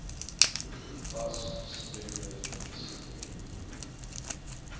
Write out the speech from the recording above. fas gestremde fisieke